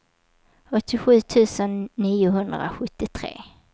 åttiosju tusen niohundrasjuttiotre